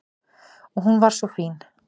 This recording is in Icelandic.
Og hún var svo fín.